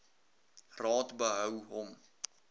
raad behou hom